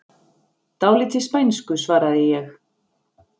Dálítið spænsku, svaraði ég.